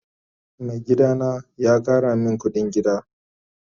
Mai gida na ya Kara min kudin gida.